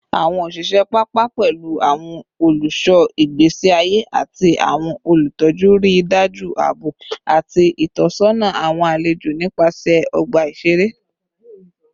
Awọn oṣiṣẹ papa, pẹlu awọn oluṣọ igbesi aye ati awọn olutọju, rii daju aabo ati itọsọna awọn alejo nipasẹ ọgba iṣere